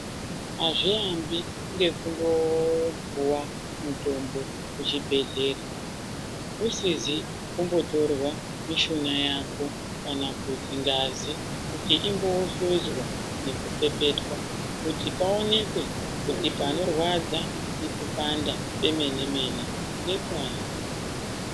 Azviambi nekungopuwa mutombo kuchibhedhleya usizi kumbohloiwa mishuna yako kana kuti ngazi ichimbohloiwa nekupepetwa kuti paoneke kuti panorwadza pemene mene ngepari .